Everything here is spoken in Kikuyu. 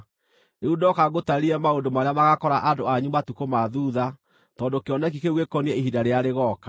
Rĩu ndoka ngũtaarĩrie maũndũ marĩa magaakora andũ anyu matukũ ma thuutha, tondũ kĩoneki kĩu gĩkoniĩ ihinda rĩrĩa rĩgooka.”